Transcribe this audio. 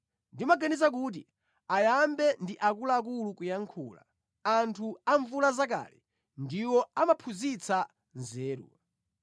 Ndimaganiza kuti, ‘Ayambe ndi akuluakulu kuyankhula; anthu amvulazakale ndiwo amaphunzitsa nzeru.’